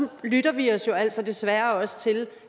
lytter vi os jo altså desværre også til